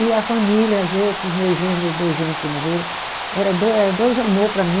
E a família, os outros meus genro, meus dois genro que morreram, era dois era dois amor para mim.